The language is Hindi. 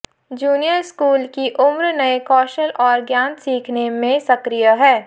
जूनियर स्कूल की उम्र नए कौशल और ज्ञान सीखने में सक्रिय है